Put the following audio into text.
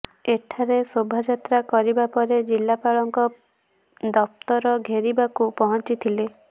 ଏଠାରେ ଶୋଭାଯାତ୍ରା କରିବା ପରେ ଜିଲ୍ଲାପାଳଙ୍କ ଦପ୍ତର ଘେରିବାକୁ ପହଂଚିଥିଲେ